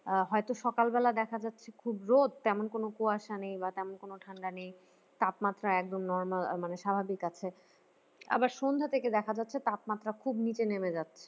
আহ হয়তো সকালবেলা দেখা যাচ্ছে খুব রোদ তেমন কোন কুয়াশা নেই বা তেমন কোন ঠান্ডা নেই তাপমাত্রা একদম normal মানে স্বাভাবিক আছে আবার সন্ধ্যা থেকে দেখা যাচ্ছে তাপমাত্রা খুব নিচে নেমে যাচ্ছে